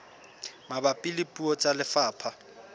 mabapi le puo tsa lefapha